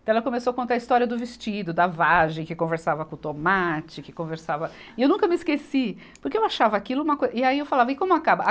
Então ela começou a contar a história do vestido, da vagem, que conversava com o tomate, que conversava... E eu nunca me esqueci, porque eu achava aquilo uma coisa... E aí eu falava, e como acaba? a